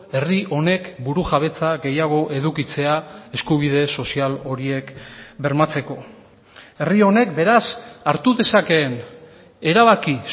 herri honek burujabetza gehiago edukitzea eskubide sozial horiek bermatzeko herri honek beraz hartu dezakeen erabaki